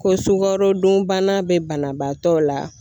Ko sukarodunbana bɛ banabaatɔ la.